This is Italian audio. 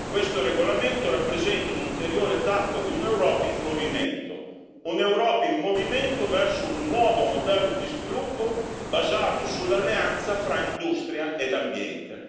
Questo regolamento rappresenta un'ulteriore tappa di un'Europa in movimento, un'Europa in movimento verso un nuovo modello di sviluppo basato sull'alleanza fra industria ed ambiente.